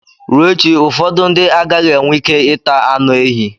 Ruo echi, ụfọdụ ndị agaghị enwe ike ịta anụ ehi.